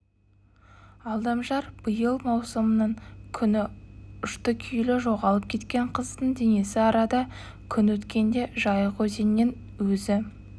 алдамжар биыл маусымның күні ұшты-күйлі жоғалып кеткен қыздың денесі арада күн өткенде жайық өзенінен өзі